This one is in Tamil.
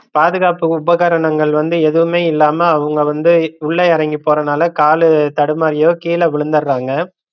பாதுகாப்பு உபகரணங்கள் வந்து எதுமே இல்லாம அவுங்க வந்து உள்ள இறங்கி போறனால காலு தடுமாறியோ கீழ விளுந்தறாங்க